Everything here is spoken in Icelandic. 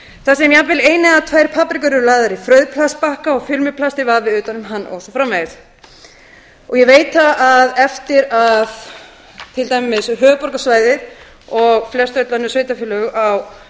þar sem jafnvel eins eða tvær paprikur eru lagðar í frauðplastbakka og filmuplasti vafið utan um hann og svo framvegis ég veit það að eftir að eftir að til dæmis höfuðborgarsvæðið og flestöll önnur sveitarfélög á